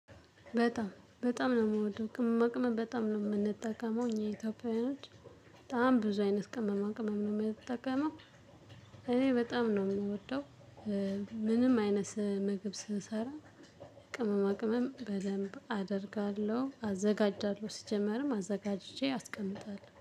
በጣም በጣም ነው የምወደው ቅመማ ቅመም በጣም ነው የምንጠቀመው እኛ ኢትዮጵያውያኖች በጣም ብዙ አይነት ቅመማ ቅመማን ነው የምንጠቀመው። እኔ በጣም ነው የምወደው። ምንም አይነት መግብ ስንሰራ። ቅመማ ቅመም በደብ አደርጋለሁ አዘጋጃለሁ ሲጀመርም አዘጋጅቼ አስቀምጣለው